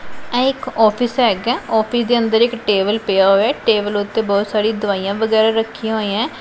ਇਹ ਇੱਕ ਔਫਿਸ ਹੈਗਾ ਹੈ ਔਫਿਸ ਦੇ ਅੰਦਰ ਇੱਕ ਟੇਬਲ ਪਿਆ ਹੋਇਆ ਐ ਟੇਬਲ ਓੱਤੇ ਬਹੁਤ ਸਾਰੀ ਦਵਾਈਆਂ ਵਗੈਰਾ ਰੱਖੀਆਂ ਹੋਈਐਂ।